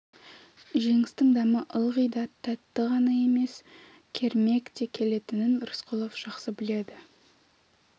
жеңістің дәмі ылғи да тәтті ғана емес кермек те келетінін рысқұлов жақсы біледі